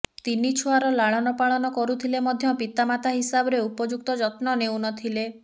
ତିନି ଛୁଆର ଲାଳନ ପାଳନ କରୁଥିଲେ ମଧ୍ୟ ପିତାମାତା ହିସାବରେ ଉପଯୁକ୍ତ ଯତ୍ନ ନେଉନଥିଲେ